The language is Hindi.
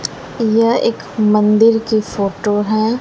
यह एक मंदिर की फोटो है।